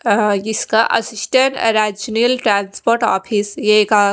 अ इसका assistant regional transport office यह का--